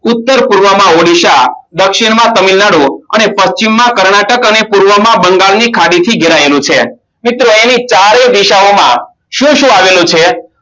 ઉત્તરપૂર્વ માં ઓડિસા દક્ષિણમાં તમિલનાડુ અને પશ્ચિમમાં કર્ણાટક અને પૂર્વ માં બંગાળની ખાદી થી ઘેરાયેલું છે મિત્રો એની ચારે દિશાઓમાં શું શું આવેલું છે